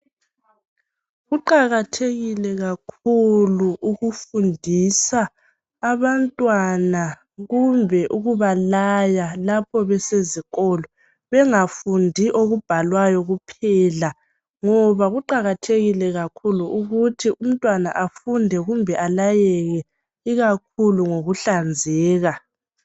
Kuqakathekile kakhulu ukufundisa abantwana kumbe ukubalaya lapho besezikolo bengafuni okubhalwayo kuphela ngoba kuqakathekile ukuthi umntwana afunde kuphela kumbe alayeke ikakhulu ngokuhlanzeka .